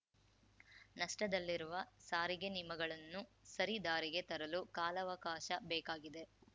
ನಷ್ಟದಲ್ಲಿರುವ ಸಾರಿಗೆ ನಿಮಗಳನ್ನು ಸರಿ ದಾರಿಗೆ ತರಲು ಕಾಲಾವಕಾಶ ಬೇಕಾಗಿದೆ